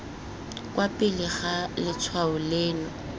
kwa pele ga letshwao leno